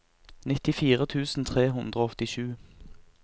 nittifire tusen tre hundre og åttisju